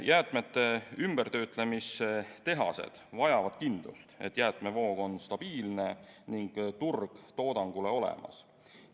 Jäätmete ümbertöötlemise tehased vajavad kindlust, et jäätmevoog on stabiilne ning turg toodangule olemas.